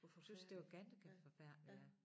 Synes det var ganske forfærdeligt ja